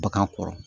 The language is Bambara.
Bagan kɔrɔ